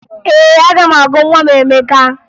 Ee, aga m agụ nwa m Emeka